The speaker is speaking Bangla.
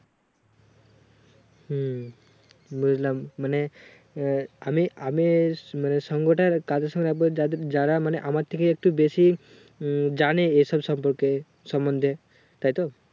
হুম বুজলাম মানে আহ আমি আমার সঙ্গটা কাদের সঙ্গে রাখবো যাদের যারা মানে আমার থেকে একটু বেশি উম জানে ওই সব সম্পর্কে সম্বন্দে তাই তো